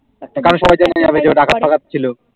তারপরে জেনে হবে যে ও ডাকাত ফ্যাকাথ ছিল